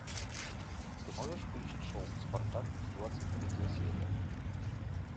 ты можешь включить шоу спартак двадцать третья серия